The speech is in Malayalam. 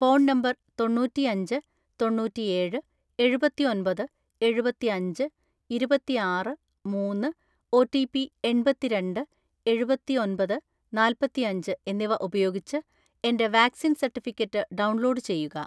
ഫോൺ നമ്പർ തൊണ്ണൂറ്റിഅഞ്ച് തൊണ്ണൂറ്റിഏഴ് എഴുപത്തിഒന്‍പത് എഴുപത്തിഅഞ്ച് ഇരുപത്തിആറ് മൂന്ന്‌, ഒ. റ്റി. പി എണ്‍പത്തിരണ്ട് എഴുപത്തിഒന്‍പത് നാല്‍പത്തിയഞ്ച് എന്നിവ ഉപയോഗിച്ച് എന്റെ വാക്‌സിൻ സർട്ടിഫിക്കറ്റ് ഡൗൺലോഡ് ചെയ്യുക.